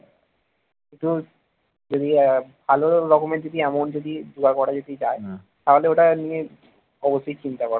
ভালো রকমের যদি amount যদি জোগাড় করা যদি যায় তাহলে ওটা নিয়ে অবশ্যই চিন্তা করা